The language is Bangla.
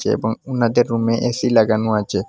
এবং উনাদের রুমে এ_সি লাগানো আচে।